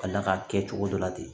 Ka d'a kan a kɛcogo dɔ la ten